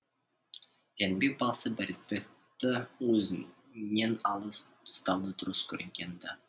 жәнібек баласы бердібекті өзінен алыс ұстауды дұрыс көргенді